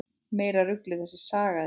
Meira ruglið þessi saga þín!